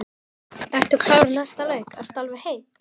Ertu klár í næsta leik, ertu alveg heill?